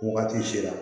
Wagati sera